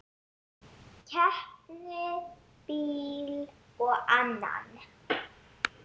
Keypti bíl og annan.